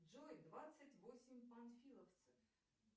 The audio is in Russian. джой двадцать восемь панфиловцев